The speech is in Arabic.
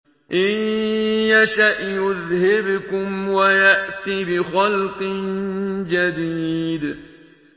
إِن يَشَأْ يُذْهِبْكُمْ وَيَأْتِ بِخَلْقٍ جَدِيدٍ